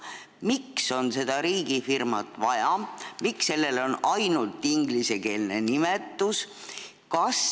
Miks on seda riigifirmat vaja ja miks on sellel ainult ingliskeelne nimetus?